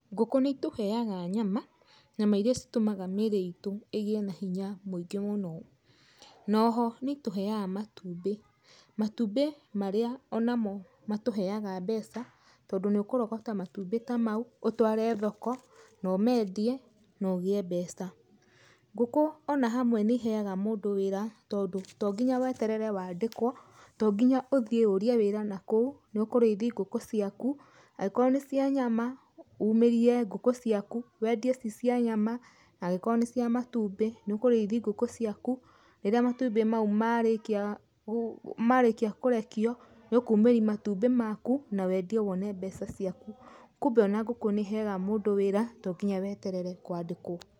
Ngũkũ nĩ itũheaga nyama, nyama iria citũmaga mĩĩrĩ itũ ĩgĩe na hinya muingĩ mũno. Noho nĩ itũheaga matumbĩ, matumbĩ marĩa onamo matũheaga mbeca, tondũ nĩ ũkũrogota matumbĩ ta mau, ũtware thoko na ũmendie, na ũgĩe mbeca. Ngũkũ ona hamwe nĩ iheaga mũndũ wĩra tondũ to nginya weterere wandĩkwo, to nginya ũthiĩ ũrie wĩra nakũu, nĩ ũkũrĩithi ngũkũ ciaku, angĩkorwo nĩ cia nyama, umĩrie ngũkũ ciaku, wendie ci cia nyama, angĩkorwo nĩ cia matumbĩ, nĩ ũkũrĩithi ngũkũ ciaku rĩrĩa matumbĩ mau marekia kũrekio, nĩ ũkumeria matumbĩ maku na wendie wone mbeca ciaku. Kumbe ona ngũkũ nĩ ĩheaga mũndũ wĩra to nginya weterere kwandĩkwo.